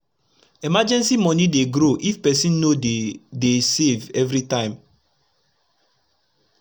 emergency moni dey grow if person dey dey save everi time